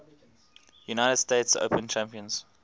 united states open champions